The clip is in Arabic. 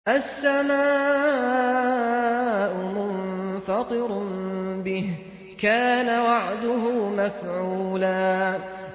السَّمَاءُ مُنفَطِرٌ بِهِ ۚ كَانَ وَعْدُهُ مَفْعُولًا